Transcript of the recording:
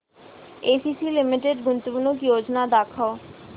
ACC limited गुंतवणूक योजना दाखव